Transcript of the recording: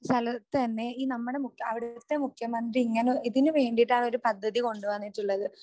ആ സ്ഥലത്ത് തന്നെ ഈ നമ്മുടെ മു അവിടുത്തെ മുഖ്യമന്ത്രി ഇങ്ങനെ ഇതിനുവേണ്ടിയിട്ടാണ് ആ ഒരു പദ്ധതി കൊണ്ടു വന്നിട്ടുള്ളത്.